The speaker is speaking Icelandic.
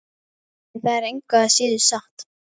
En það er engu að síður satt.